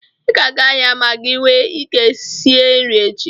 I ga-aga ahịa ma gị nwe ike sie nri echi.